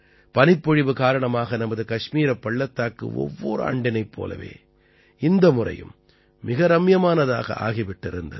பனிப்பொழிவு காரணமாக நமது கஷ்மீரப் பள்ளத்தாக்கு ஒவ்வொர் ஆண்டினைப் போலவும் இந்த முறையும் மிக ரம்மியமானதாக ஆகி விட்டிருந்தது